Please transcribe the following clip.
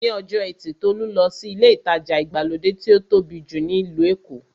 Ní ọjọ́ ẹtì Tolú lọ sí ilé ìtajà ìgbàlódé tí ó tóbi jù ní ìlú Èkó.